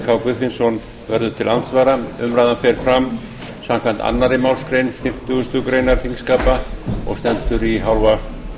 k guðfinnsson verður til andsvara umræðan fer fram samkvæmt annarri málsgrein fimmtugustu grein þingskapa og stendur í hálfa